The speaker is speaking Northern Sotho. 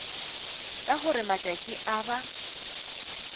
ka gore matšatši a ba